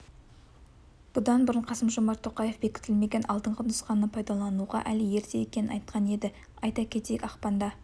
бұдан бұрын қасымжомарт тоқаев бекітілмеген алдыңғы нұсқаны пайдалануға әлі ерте екенін айтқан еді айта кетейік ақпанда